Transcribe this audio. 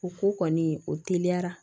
O ko kɔni o teliya